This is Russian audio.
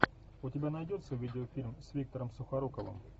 у тебя найдется видеофильм с виктором сухоруковым